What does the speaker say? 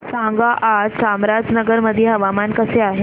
सांगा आज चामराजनगर मध्ये हवामान कसे आहे